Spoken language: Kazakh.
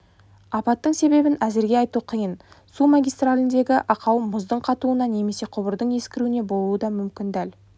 апаттың себебін әзірге айту қиын су магистраліндегі ақау мұздың қатуынан немесе құбырдың ескіруіне болуы мүмкін дәл